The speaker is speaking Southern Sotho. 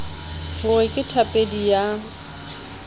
ho re ke thapedi ya